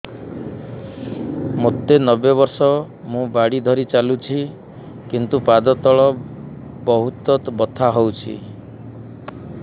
ମୋତେ ନବେ ବର୍ଷ ମୁ ବାଡ଼ି ଧରି ଚାଲୁଚି କିନ୍ତୁ ପାଦ ତଳ ବହୁତ ବଥା ହଉଛି